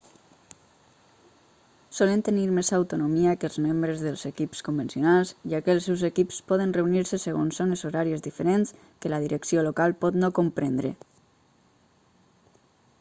solen tenir més autonomia que els membres dels equips convencionals ja que els seus equips poden reunir-se segons zones horàries diferents que la direcció local pot no comprendre